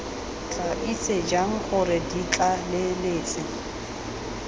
tla itse jang gore ditlaleletsi